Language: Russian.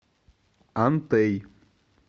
антей